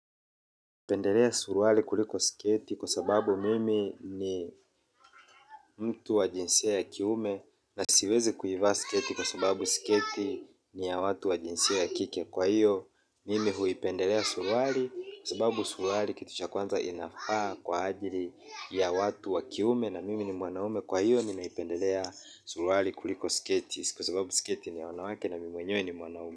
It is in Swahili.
Pendelea suruali kuliko sketi kwa sababu mimi ni mtu wa jinsia ya kiume na siwezi kuivaa sketi kwa sababu sketi ni ya watu wajinsia ya kike. Kwa hiyo, mimi huipendelea suruali kwa sababu suruali kitu cha kwanza inafaa kwa ajili ya watu wakiume na mimi ni mwanaume. Kwa hiyo, mimi naipendelea suruari kuliko siketi kwa sababu siketi ni ya wanawake na mimi mwenyewe ni mwanaume.